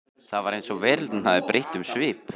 Það var eins og veröldin hefði breytt um svip.